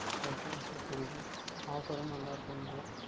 Okay Okay புரிகின்றது Offer உம் நன்றாக இருக்கும் என்கின்றாய்